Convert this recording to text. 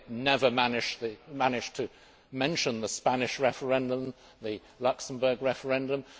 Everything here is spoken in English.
They never manage to mention the Spanish referendum, the Luxembourg referendum.